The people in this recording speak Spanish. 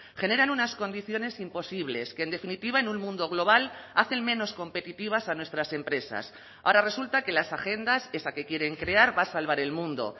generan unas condiciones imposibles que en definitiva en un mundo global hacen menos competitivas a nuestras empresas ahora resulta que las agendas esa que quieren crear va a salvar el mundo